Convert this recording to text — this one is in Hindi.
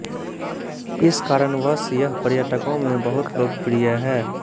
इस कारणवश यह पर्यटकों में बहुत लोकप्रिय है